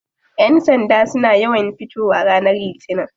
Yan sanda suna yawan fitowa ranar litinin.